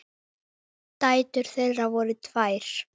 Dætur þeirra eru tvær.